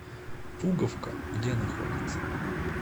пуговка где находится